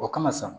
O kama sa